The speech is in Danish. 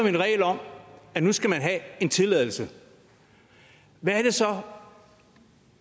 en regel om at nu skal man have en tilladelse hvad er det så